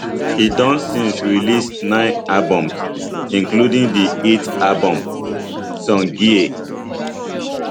e don since release nine albums including di hit album somgye